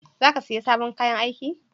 Za ka siya sabon kayan aiki?